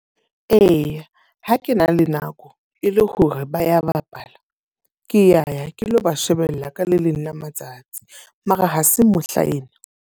Eya, ha ke na le nako e le hore ba ya bapala. Ke ya ke lo ba shebella ka le leng la matsatsi. Mara ha se mohlaena.